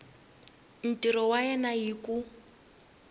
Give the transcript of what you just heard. ntirho wa yena hi ku